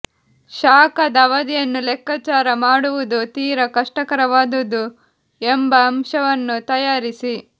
ಶಾಖದ ಅವಧಿಯನ್ನು ಲೆಕ್ಕಾಚಾರ ಮಾಡುವುದು ತೀರಾ ಕಷ್ಟಕರವಾದುದು ಎಂಬ ಅಂಶವನ್ನು ತಯಾರಿಸಿ